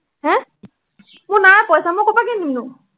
মোৰ নাই পইচা, মই কৰপৰা কিনি দিমনো?